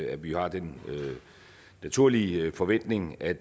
at vi har den naturlige forventning at